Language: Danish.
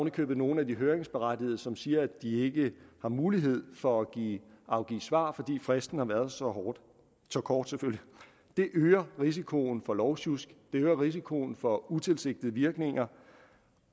i købet nogle af de høringsberettigede som siger at de ikke har mulighed for at afgive svar fordi fristen har været så kort det øger risikoen for lovsjusk det øger risikoen for utilsigtede virkninger